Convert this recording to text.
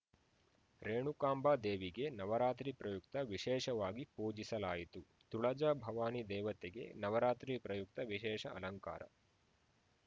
ರೇಣುಕಾಂಬದೇವಿಗೆ ನವರಾತ್ರಿ ಪ್ರಯುಕ್ತ ವಿಶೇಷವಾಗಿ ಪೂಜಿಸಲಾಯಿತು ತುಳಜಾಭವಾನಿ ದೇವತೆಗೆ ನವರಾತ್ರಿ ಪ್ರಯುಕ್ತ ವಿಶೇಷ ಅಲಂಕಾರ